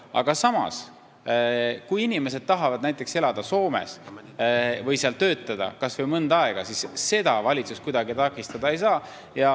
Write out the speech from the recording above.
Aga samas, kui inimesed tahavad näiteks elada Soomes või seal töötada, kas või mõnda aega, siis seda valitsus kuidagi takistada ei saa.